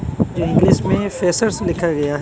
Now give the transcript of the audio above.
जो इंग्लिश में फ्रेशर्स लिखा गया--